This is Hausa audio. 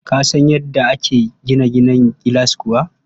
Ka san yadda ake gina gidan gilas kuwa?